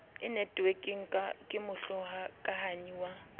e netwekeng ke mohokahanyi wa